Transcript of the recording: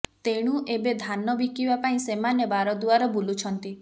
ତେଣୁ ଏବେ ଧାନ ବିକିବା ପାଇଁ ସେମାନେ ବାରଦୁଆର ବୁଲୁଛନ୍ତି